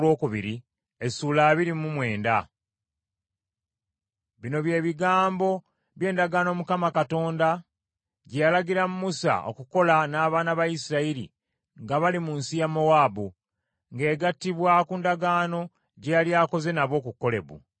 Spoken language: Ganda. Bino bye bigambo by’endagaano Mukama Katonda gye yalagira Musa okukola n’abaana ba Isirayiri nga bali mu nsi ya Mowaabu, ng’egattibwa ku ndagaano gye yali akoze nabo ku Kolebu.